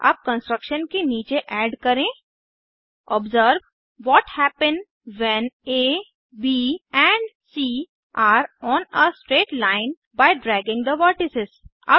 अब कंस्ट्रक्शन के नीचे ऐड करें observe what happen when A B and C are on a straight line by dragging the vertices